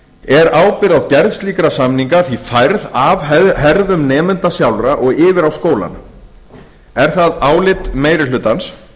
er ábyrgð á gerð slíkra samninga því færð af herðum nemenda sjálfra og yfir á skólana er það álit meiri hlutans